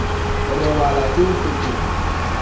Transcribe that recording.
ho robala ke ho fetoha